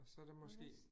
Og så der måske